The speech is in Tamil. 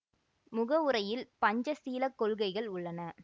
முகவுரையில் பஞ்ச சீலக் கொள்கைகள் உள்ளன